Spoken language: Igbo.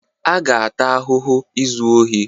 A ga-ata ahụhụ izu ohi.